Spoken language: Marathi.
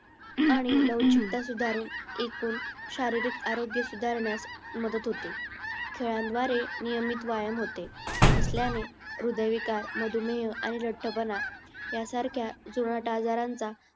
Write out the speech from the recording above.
आणि लवचिकता सुधारून एकूण शारीरिक आरोग्य सुधारण्यास मदत होते. खेळाद्वारे नियमित व्यायाम होते असल्याने हृदयविकार, मधूमेह आणि लठ्ठपणा यासारख्या जुनाट आजारांचा